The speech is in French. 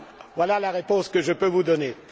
Voilà la réponse que je peux vous donner.